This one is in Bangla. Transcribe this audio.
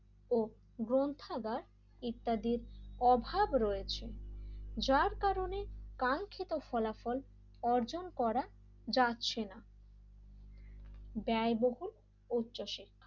ও গ্রন্থাগার ইত্যাদির অভাব রয়েছে যার কারণে কাঙ্খিত ফলাফল অর্জন করা যাচ্ছে না ব্যায়বহুল উচ্চশিক্ষা,